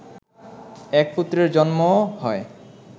এক পুত্রের জন্ম হয়